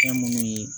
Fɛn munnu ye